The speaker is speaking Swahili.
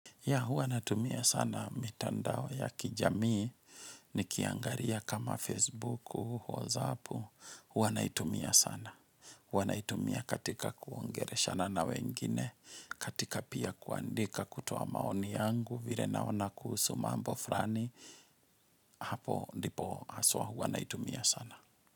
Ya hua natumia sana mitandao ya kijamii ni kiangaria kama Facebooku, WhatsAppu, hua natumia sana. Hua natumia katika kuongereshana na wengine, katika pia kuandika kutuoa maoni yangu vire naona kuhusu mambo frani, hapo ndipo haswa hua naitumia sana.